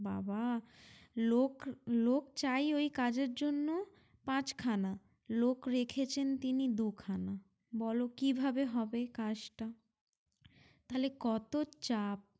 বাবা লোক লোক চাই ওই কাজের জন্য পাঁচ খানা লোক রেখেছেন তিনি দুখানা বলো কীভাবে হবে কাজ টা তাহলে কত চাপ